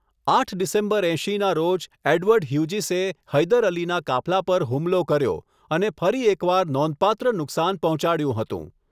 આઠ ડિસેમ્બર એંશીના રોજ, એડવર્ડ હ્યુજીસે હૈદર અલીના કાફલા પર હુમલો કર્યો અને ફરી એકવાર નોંધપાત્ર નુકસાન પહોંચાડ્યું હતું.